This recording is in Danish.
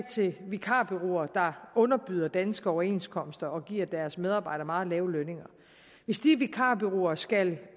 til vikarbureauer der underbyder danske overenskomster og giver deres medarbejdere meget lave lønninger hvis de vikarbureauer skal